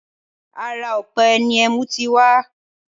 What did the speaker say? Ara ọ̀pẹ ni ẹmú ti wá